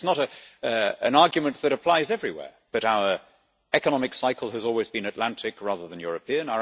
It is not an argument that applies everywhere, but our economic cycle has always been Atlantic rather than European